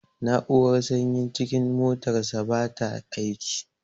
Na'urar sanyin cikin motarsa bata aiki.